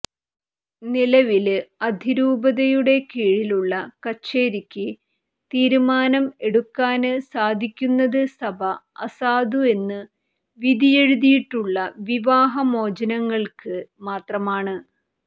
നിലവില് അതിരൂപതയുടെ കീഴിലുള്ള കച്ചേരിക്ക് തീരുമാനം എടുക്കാന് സാധിക്കുന്നത് സഭ അസാധു എന്ന് വിധിയെഴുതിയിട്ടുള്ള വിവാഹമോചനങ്ങള്ക്ക് മാത്രമാണ്